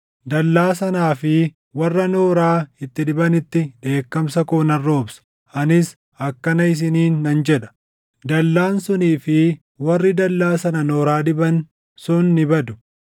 Dallaa sanaa fi warra nooraa itti dibanitti dheekkamsa koo nan roobsa. Anis akkana isiniin nan jedha; “Dallaan sunii fi warri dallaa sana nooraa diban sun ni badu;